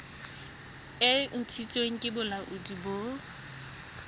e ntshitsweng ke bolaodi bo